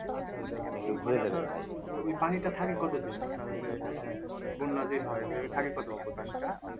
আচ্ছা আচ্ছা ওই ওই পানিটা থাকে কতদিন আপনার ঐযে আহ বন্যা যে হয় হয়ে থাকে কতদিন পানিটা?